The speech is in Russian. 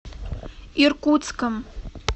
иркутском